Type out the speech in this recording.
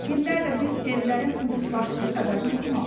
İllərdir biz evlərin ucuzlaşdığı xəbərini oxumamışıq.